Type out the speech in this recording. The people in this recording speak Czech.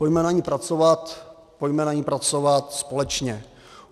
Pojďme na ní pracovat, pojďme na ní pracovat společně.